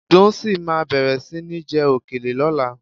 Dùnńsìn máa bẹ̀rẹ̀ sí ní jẹ òkèlè lọ́la